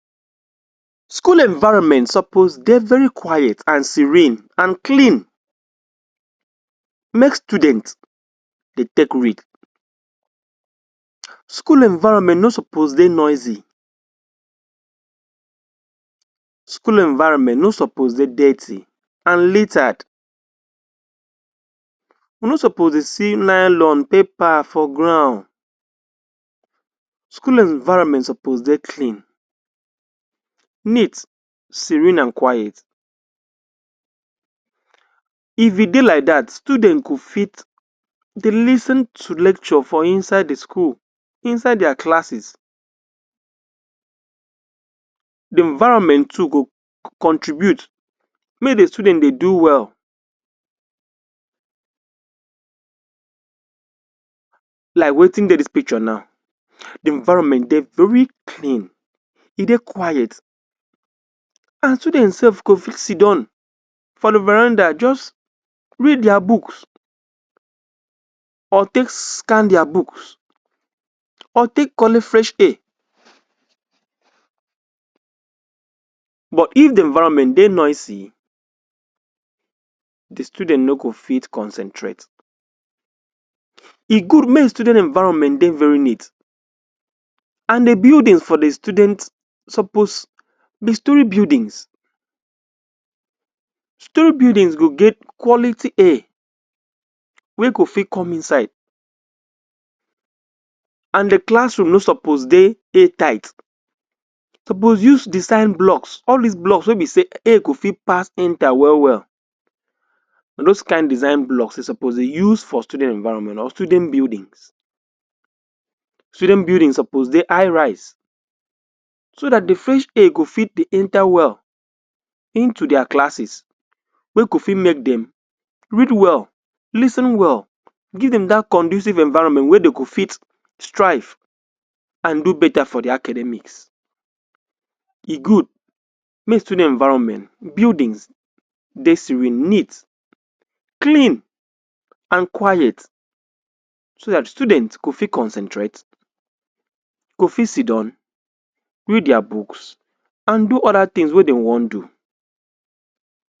School environment suppose dey very quiet and serene and clean make student dey take read. School environment no suppose dey noisy. School environment no suppose dey dirty and litered. We no suppose dey see nylon, paper for ground. School environment suppose dey clean, neat, serene and quiet. If e dey like dat, student go fit dey lis ten to lecture for inside the school, inside their classes. The environment too go contribute make the student dey do well like wetin dey dis picture now. The environment dey very clean, e dey quiet and student sef go fit sit down for the veranda just read their books or take scan their books or take collect fresh air but if the environment dey noisy, the student no go fit concentrate. E good make the student dem environment dey very neat and the buildings for the student suppose be storey buildings. Storey buildings go get quality air wey go fit come inside and the classroom no suppose dey dey tight. You supposed use design blocks, all these blocks wey be say air go fit pass enter well well. Na those kain design blocks wey you suppose use for student environment or student buildings. Student buildings suppose dey high rise so dat the fresh air go fit dey enter well into their classes wey go fit make dem read well, lis ten well, give dem dat conducive environment wey dem go fit strive and do better for their academics. E good make student environment, buildings dey serene, neat, clean and quiet so dat students go fit concentrate, go fit sit down, read their books and do other things wey dey wan do.